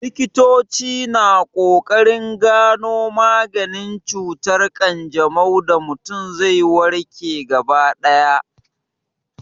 Likitoci na ƙoƙarin gano maganin cutar ƙanjamau da mutum zai warke gaba ɗaya.